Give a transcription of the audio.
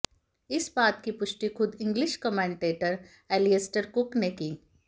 इस बात की पुष्टी खुद इंग्लिश कॉमेंटेटर एलियस्टर कुक ने की